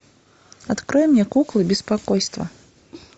открой мне куклы беспокойства